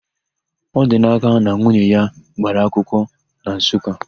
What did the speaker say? Ọdinaka na nwunye ya gbara akwụkwọ na Nsụka.